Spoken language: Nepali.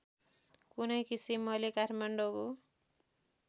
कुनै किसिमले काठमाडौँ